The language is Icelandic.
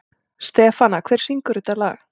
Stefana, hver syngur þetta lag?